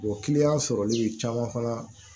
kiliyan sɔrɔli caman fana